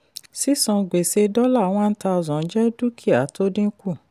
sísan gbèsè $1000 jẹ́ dúkìá tó dínkù.